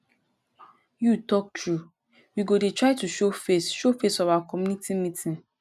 you talk true we go dey try to show face show face for our community meeting